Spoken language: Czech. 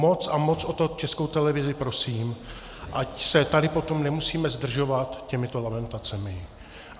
Moc a moc o to Českou televizi prosím, ať se tady potom nemusíme zdržovat těmito lamentacemi.